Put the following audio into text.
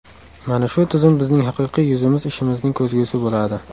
Mana shu tizim bizning haqiqiy yuzimiz ishimizning ko‘zgusi bo‘ladi.